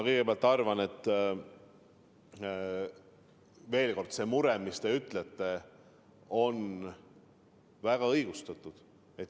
Kõigepealt, ma arvan, et teie mure on väga õigustatud.